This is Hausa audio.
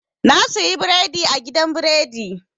Na suyi biredi a gidan biredi.